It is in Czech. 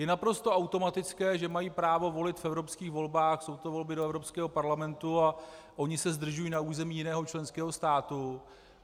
Je naprosto automatické, že mají právo volit v evropských volbách, jsou to volby do Evropského parlamentu a oni se zdržují na území jiného členského státu.